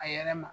A yɛrɛ ma